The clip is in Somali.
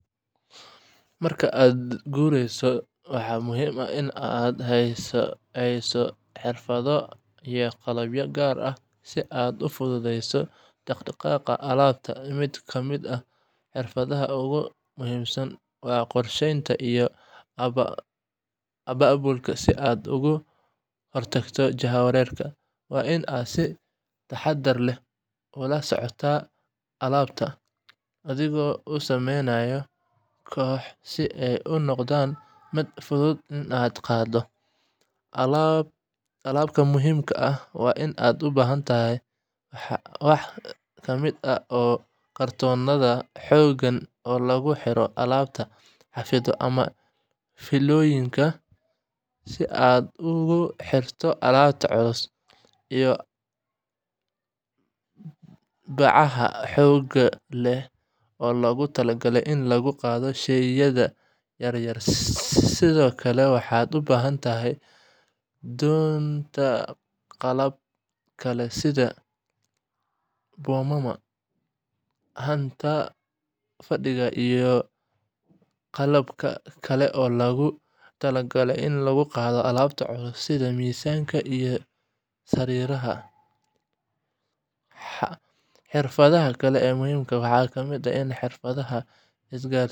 Marka aad guurayso, waxaa muhiim ah inaad haysato xirfado iyo qalab gaar ah si aad u fududeyso dhaqdhaqaaqa alaabta. Mid ka mid ah xirfadaha ugu muhiimsan waa qorsheynta iyo abaabulka si aad uga hortagto jahwareerka. Waa inaad si taxaddar leh u kala soocdaa alaabtaada, adigoo u sameynaya kooxo si ay u noqoto mid fudud in la qaado. Qalabka muhiimka ah ee aad u baahan tahay waxaa ka mid ah kartoonnada xooggan oo lagu xirayo alaabta, xadhigyo ama fiilooyin si aad ugu xirto alaabta culus, iyo bacaha xoogga leh oo loogu talagalay in lagu qaado shayada yaryar. Sidoo kale, waxaad u baahan doontaa qalab kale sida boomama, haanta fadhiga ama qalabka kale ee loogu talagalay in lagu qaado alaabta culus sida miisaska iyo sariiraha. Xirfadaha kale ee muhiimka ah waxaa ka mid ah xirfadaha isgaarsiinta si aad.